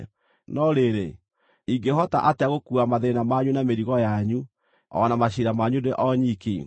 No rĩrĩ, ingĩhota atĩa gũkuua mathĩĩna manyu, na mĩrigo yanyu, o na maciira manyu ndĩ o nyiki?